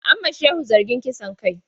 An ma Shehu zargin kisan kai.